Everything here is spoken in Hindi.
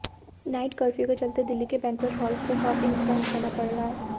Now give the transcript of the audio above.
नाइट कर्फ्यू के चलते दिल्ली के बैंक्वेट हॉल्स को काफी नुकसान उठाना पड़ रहा है